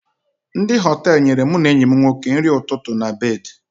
Ndị Họtelụ nyere mụ na enyi m nwoke nri ụtụtụ na bedị